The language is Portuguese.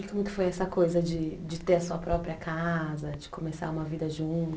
E como que foi essa coisa de de ter a sua própria casa, de começar uma vida junto?